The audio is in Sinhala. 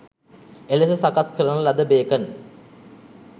එලෙස සකස් කරන ලද බේකන්